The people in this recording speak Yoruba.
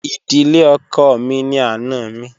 Ìdílé ọkọ mi ni àna mi